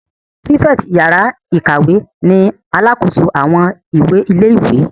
Pírífẹ̀tì yàrá-ìkàwé ni alàkóso àwọn ìwé ilé-ìwé